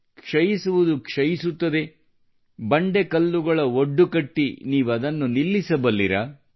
ಕ್ಷಯಿಸುವುದು ಕ್ಷಯಿಸುತ್ತದೆ ಬಂಡೆ ಕಲ್ಲುಗಳ ಒಡ್ಡು ಕಟ್ಟಿ ನೀವದನ್ನು ನಿಲ್ಲಿಸಬಲ್ಲಿರಾ